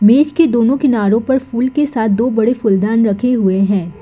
मेज़ के दोनों किनारो पर फूल के साथ दो बड़े फूलदान रखे हुए हैं।